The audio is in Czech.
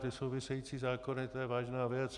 Ty související zákony, to je vážná věc.